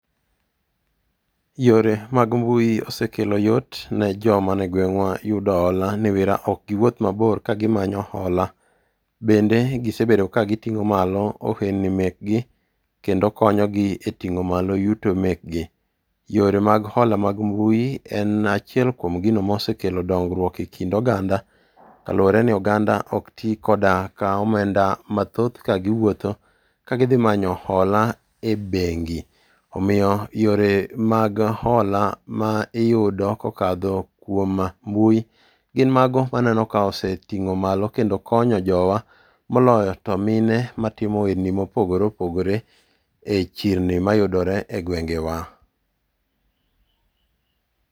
Yore mag mbui osekelo yot ne joma nie gweng'wa yudo hola niwira ok giwuoth mabor kagimanyo hola. Bende gisebedo kagiting'o malo ohendni mekgi kendo konyo gi e ting'o malo yudo mekgi. Yore mag hola mag mbui en achiel kuom gino mosekelo dongruok e kind oganda kalure ni oganda ok ti koda ,ka omenda mathoth kagiwuotho ,kagidhi manyo hola e bengi. Omiyo yore mag hola ma iyudo kokadho kuom mbui gin mago maneno ka oseting'o malo kendo konyo jowa, moloyo to mine matimo ohelni mopogore opogore e chirni mayudore e gwengewa.